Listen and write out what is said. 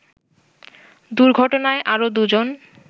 দুর্ঘটনায় আরো দুজন